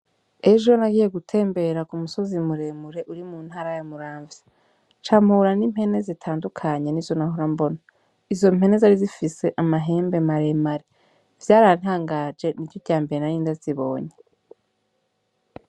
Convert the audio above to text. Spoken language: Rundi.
Ejo nagiye gutembera ku musozi muremure uri mu ntara ya muramvya, nca mpura n'impene zitandukanye n'izo nahora mbona. Izo mpene zari zifise amahembe maremare. Vyarantangaje, niryo rya mbere nari ndazibonye.